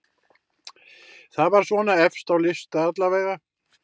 Það var svona efst á lista allavega.